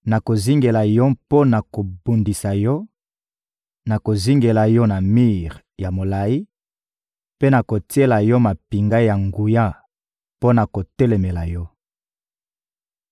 Nakozingela yo mpo na kobundisa yo, nakozingela yo na mir ya molayi mpe nakotiela yo mampinga ya nguya mpo na kotelemela yo.